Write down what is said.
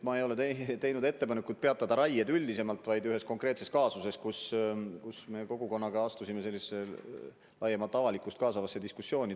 Ma ei ole teinud ettepanekut peatada raied üldisemalt, vaid ühes konkreetses kaasuses, kus me kogukonnaga astusime sellisesse laiemat avalikkust kaasavasse diskussiooni.